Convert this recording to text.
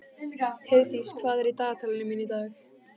Heiðdís, hvað er í dagatalinu mínu í dag?